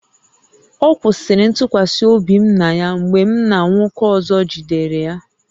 Ọ kwụsịrị ntụkwasị obi m na ya mgbe m na nwoke ọzọ jidere ya